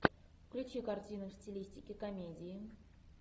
включи картину в стилистике комедии